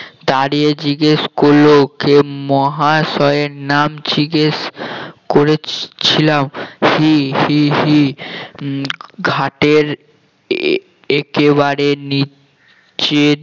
দাঁড়িয়ে জিজ্ঞেস করলো কে মহাশয়ের নাম জিজ্ঞেস করেছিলাম হি হি হি উম ঘাটের এ~ একেবারে নিচের